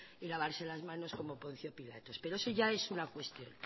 y lavarse las manos como poncio pilatos pero eso ya es una cuestión